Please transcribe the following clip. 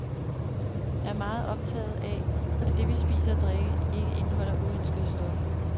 Jeg er meget optaget af, at det, vi spiser og drikker, ikke indeholder uønskede stoffer.